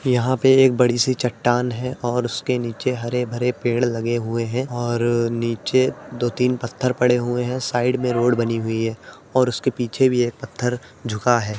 यहाँ पे एक बड़ी सी चट्टान है और उसके नीचे हरे भरे पेड़ लगे हुए है और नीचे दो तीन पत्थर पड़े हुए है। साइड में रोड बनी हुई है और उसके पीछे भी एक पत्थर झुका है।